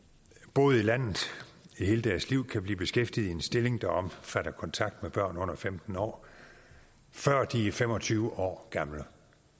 boet i landet i hele deres liv kan blive beskæftiget i en stilling der omfatter kontakt med børn under femten år før de er fem og tyve år gamle